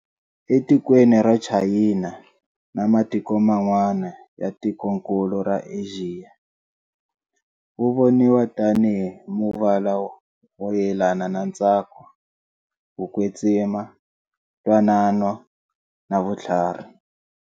Etikweni ra Chayina, na matiko mn'wana ya tikonkulu ra Axiya, wuvoniwa tani hi muvala wo yelana na ntsako, kukwetsima, ntwanano na vuthlarhi.